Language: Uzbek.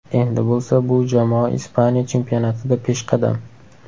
Endi bo‘lsa bu jamoa Ispaniya chempionatida peshqadam.